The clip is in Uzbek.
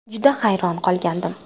Juda hayron qolgandim.